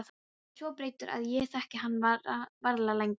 Pabbi er svo breyttur að ég þekki hann varla lengur.